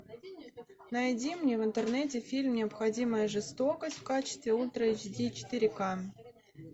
найди мне в интернете фильм необходимая жестокость в качестве ультра эйч ди четыре ка